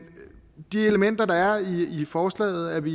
de elementer der er i forslaget er vi